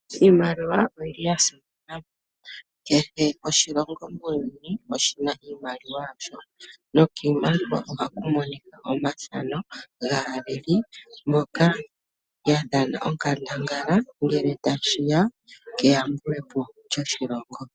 Iimaliwa oyili ya simana, kehe oshilongo muuyuni oshina iimaliwa yasho, no kiimaliwa ohaku monika omafano gaaleli mboka ya dhana onkandangala ngele tashi ya keyambulepo lyoshilongo